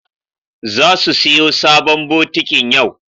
Zasu siyo sabon bokitin yau.